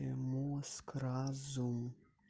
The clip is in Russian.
и мозг разум